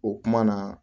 O kuma na